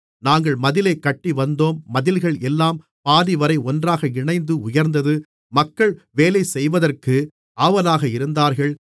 நாங்கள் மதிலைக் கட்டிவந்தோம் மதில்கள் எல்லாம் பாதிவரை ஒன்றாக இணைந்து உயர்ந்தது மக்கள் வேலைசெய்வதற்கு ஆவலாக இருந்தார்கள்